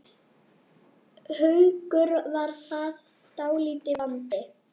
Haukur: Var það dálítill vandi?